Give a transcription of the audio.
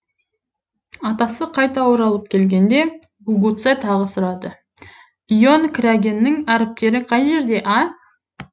атасы қайта оралып келгенде гугуцэ тағы сұрады ион крянгэнің әріптері қай жерде а